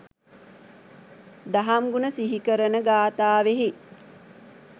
දහම් ගුණ සිහි කරන ගාථාවෙහි